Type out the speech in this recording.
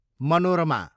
Manorama